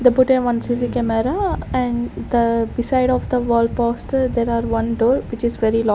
they put a one C_C camera and the beside of the wall poster there are one door which is very --